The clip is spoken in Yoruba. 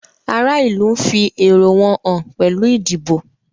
Ará ìlú n fí èrò wọn hàn pẹ́lù ìdìbò